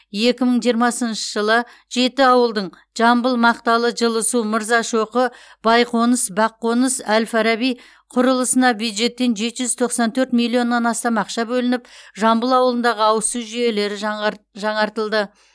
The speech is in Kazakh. екі мың жиырмасыншы жылы жеті ауылдың жамбыл мақталы жылысу мырзашоқы байқоныс баққоныс әл фараби құрылысына бюджеттен жеті жүз тоқсан төрт миллионнан астам ақша бөлініп жамбыл ауылындағы ауыз су жүйелері жаңғрт жаңартылды